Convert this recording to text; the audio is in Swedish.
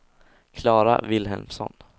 Klara Vilhelmsson